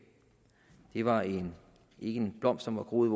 det var ikke en blomst som var groet